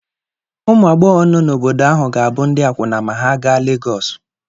Ụmụ agbọghọ nọ n'obodo ahụ ga-abụ ndị akwụna ma ha gaa Legọsụ.